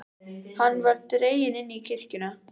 Hann var dreginn inn í kirkjuna.